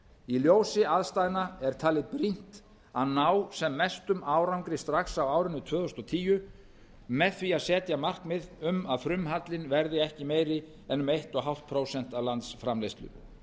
í ljósi aðstæðna er talið brýnt að ná mestum árangri strax á árinu tvö þúsund og tíu með því að setja markmið um að frumhallinn verði ekki meiri en um eins og hálft prósent af landsframleiðslu